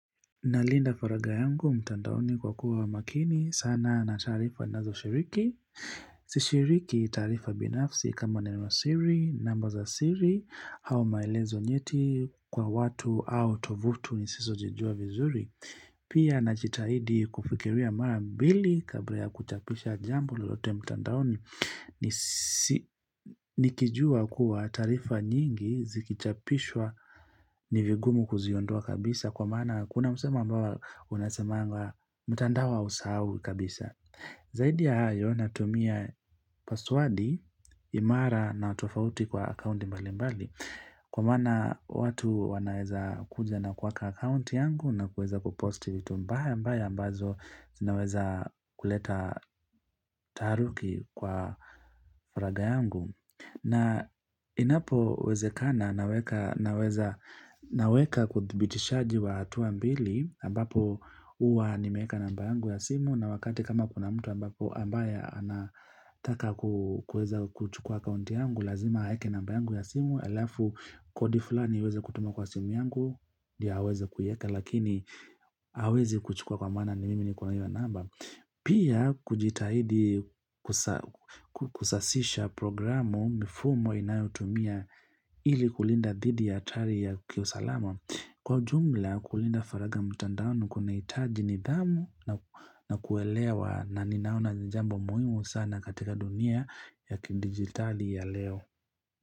Nalinda faragha yangu, mtandaoni kwa kuwa makini, sana na taarifa ninazo shiriki, si shiriki taarifa binafsi kama neno siri, namba za siri, au maelezo nyeti kwa watu au tovuti nisizo zijua vizuri. Pia najitahidi kufikiria mara mbili kabla ya kuchapisha jambo lolote mtandaoni nikijua kuwa tarifa nyingi zikichapishwa ni vigumu ku ziondoa kabisa kwa maana kuna msemo ambawo unasemanga mtandao hausahau kabisa. Zaidi ya hayo. Natumia paswadi, imara na tofauti kwa akaunti mbali mbali. Kwa maana watu wanaweza kuja na kuhack akaunti yangu na kuweza kuposti vitu mbaya mbaya ambazo zinaweza kuleta taharuki kwa faragha yangu. Na inapo wezekana naweka naweza naweka uthibitishaji wa hatua mbili ambapo huwa nimeeka namba yangu ya simu na wakati kama kuna mtu ambapo ambaye anataka kuweza kuchukua akaunti yangu lazima aeke namba yangu ya simu. Halafu kodi fulani iweze kutumwa kwa simu yangu ndiyo aweze kuieka lakini hawezi kuchukua kwa maana ni mimi nikona hiyo namba Pia kujitahidi kusasisha programu mifumo inayotumia ili kulinda dhidi ya hatari ya kiusalama. Kwa ujumla kulinda faragha mtandaoni kunahitaji nidhamu na kuelewa na ninaona ni jambo muhimu sana katika dunia ya kidijitali ya leo.